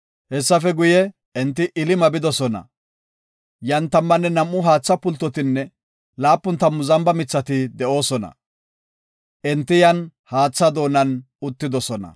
Hessafe guye, enti Elima bidosona. Yan tammanne nam7u haatha pultotinne laapun tammu zamba mithati de7oosona. Enti yan haatha doonan uttidosona.